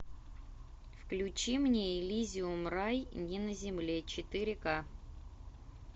включи мне элизиум рай не на земле четыре ка